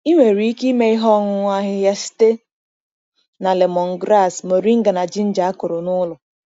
Ị nwere ike ime ihe ọṅụṅụ ahịhịa site na lemongrass, moringa na ginger a kụrụ n’ụlọ.